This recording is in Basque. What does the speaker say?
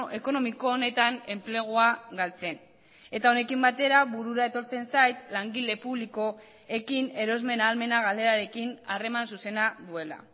ekonomiko honetan enplegua galtzen eta honekin batera burura etortzen zait langile publikoekin erosmen ahalmena galerarekin harreman zuzena duela